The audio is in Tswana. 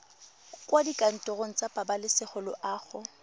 kwa dikantorong tsa pabalesego loago